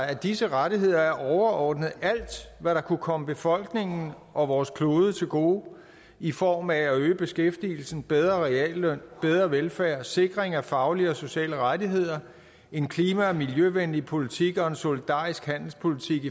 at disse rettigheder er overordnet alt hvad der kunne komme befolkningen og vores klode til gode i form af at øge beskæftigelsen bedre realløn bedre velfærd sikring af faglige og sociale rettigheder en klima og miljøvenlig politik og en solidarisk handelspolitik